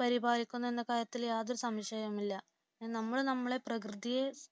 പരിപാലിക്കുമെന്ന കാര്യത്തിൽ യാതൊരു സംശയവുമില്ല നമ്മൾ നമ്മുടെ പ്രകൃതിയെ